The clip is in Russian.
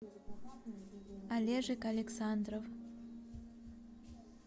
олежек александров